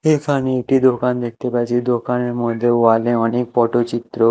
এখানে একটি দোকান দেখতে পাচ্ছি দোকানের মধ্যে ওয়াল -এ অনেক পটচিত্র--